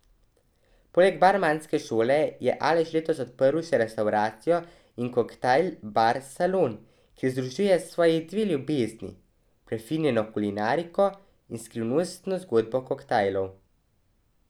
Poleg barmanske šole je Aleš letos odprl še restavracijo in koktajl bar Salon, kjer združuje svoji dve ljubezni, prefinjeno kulinariko in skrivnostno zgodbo koktajlov.